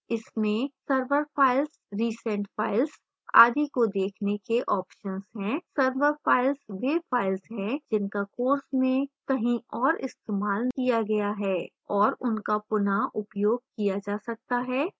इसमें server files recent filesआदि को देखने के options हैं server files वे files हैं जिनका course में कहीं और इस्तेमाल किया गया है और उनका पुन: उपयोग किया जा सकता है